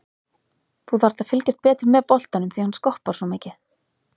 Þú þarft að fylgjast betur með boltanum því hann skoppar svo mikið.